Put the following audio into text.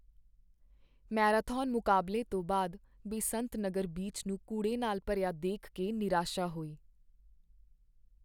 Marathon ਮੁਕਾਬਲੇ ਤੋਂ ਬਾਅਦ ਬੇਸੰਤ ਨਗਰ ਬੀਚ ਨੂੰ ਕੂੜੇ ਨਾਲ ਭਰਿਆ ਦੇਖ ਕੇ ਨਿਰਾਸ਼ਾ ਹੋਈ।